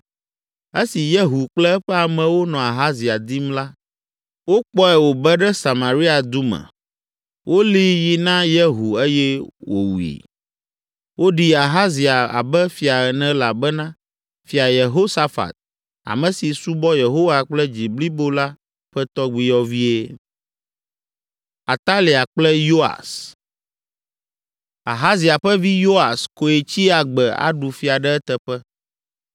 Esi Yehu kple eƒe amewo nɔ Ahazia dim la, wokpɔe wòbe ɖe Samaria du me, wolée yi na Yehu eye wòwui. Woɖi Ahazia abe fia ene elabena Fia Yehosafat, ame si subɔ Yehowa kple dzi blibo la ƒe tɔgbuiyɔvie. Ahazia ƒe vi Yoas koe tsi agbe aɖu fia ɖe eteƒe;